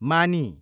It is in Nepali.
मानी